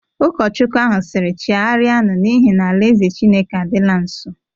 Ụkọchukwu ahụ siri, "Chegharianu! n'ihi na ala-eze Chineke adịla nso.